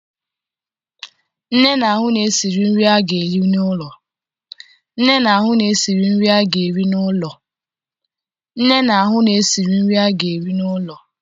Nne na-ahụ na e siri nri a ga-eri n'ụlọ